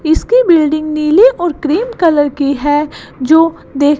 इसकी बिल्डिंग नीली और क्रीम कलर की है जो देख--